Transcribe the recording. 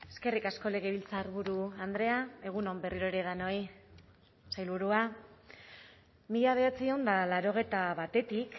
eskerrik asko legebiltzarburu andrea egun on berriro ere denoi sailburua mila bederatziehun eta laurogeita batetik